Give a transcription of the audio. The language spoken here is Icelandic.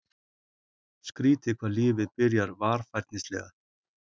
Skrýtið hvað lífið byrjar varfærnislega.